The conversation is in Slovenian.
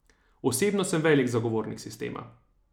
Osebno sem velik zagovornik sistema.